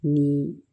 Ni